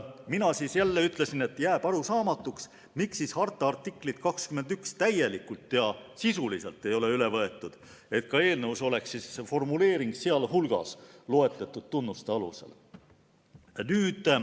Mina ütlesin jälle, et jääb arusaamatuks, miks harta artiklit 21 täielikult ja sisuliselt ei ole üle võetud, et ka eelnõus oleks formuleering "sealhulgas loetletud tunnuste alusel".